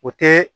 O te